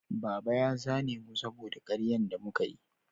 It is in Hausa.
Baba ya zane mu saboda karyan da muka yi